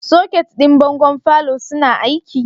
Soket ɗin bangon falo suna aiki?